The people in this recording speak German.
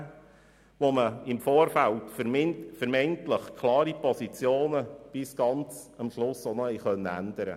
Dabei war es möglich, im Vorfeld vermeintlich klare Positionen bis zum Schluss zu ändern.